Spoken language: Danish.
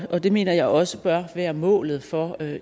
og det mener jeg også bør være målet for